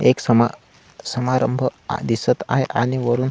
एक समा समारंभ दिसत आहे आणि वरून--